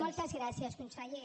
moltes gràcies conseller